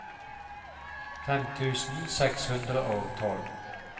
fem tusen seks hundre og tolv